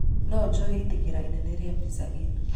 No njũe ĩtĩkĩra inene ria pizza inn